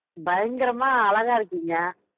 பயங்கரமா அழகா இருக்கீங்க